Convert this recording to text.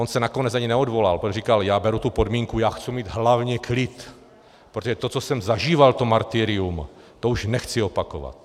On se nakonec ani neodvolal, protože říkal, já beru tu podmínku, já chci mít hlavně klid, protože to, co jsem zažíval, to martyrium, to už nechci opakovat.